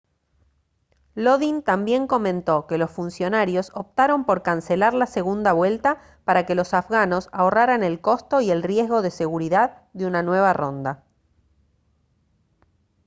lodin también comentó que los funcionarios optaron por cancelar la segunda vuelta para que los afganos ahorraran el costo y el riesgo de seguridad de una nueva ronda